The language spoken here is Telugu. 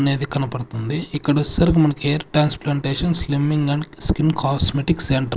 అనేది కనపడుతుంది ఇక్కడ వచ్చేసరికి మనకి hair transplantation slimming and skin cosmetics సెం --